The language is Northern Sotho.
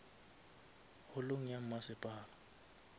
holong ya masepala